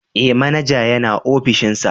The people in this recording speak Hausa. Eh manaja yana opishinsa.